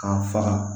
K'a faga